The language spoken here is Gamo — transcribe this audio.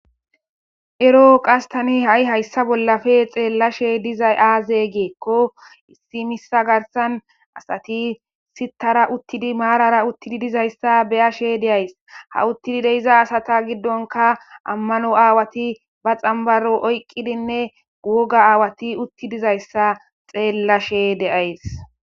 erooqas tani ha7i hayssa bollafe xeellashe dizay aaze geekko issi missa garsan asati sittara uttidi maarara uttidi dizayssa beyashe deays ha uttidi deiza asata giddonka ammano aawati ba xambaro oyqqidinne guoga aawati utti dizayssa xeellashe deays